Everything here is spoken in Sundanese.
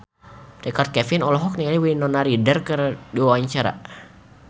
Richard Kevin olohok ningali Winona Ryder keur diwawancara